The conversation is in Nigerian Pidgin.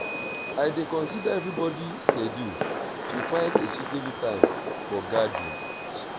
i dey consider everybody schedule to find a suitable time for gatherings.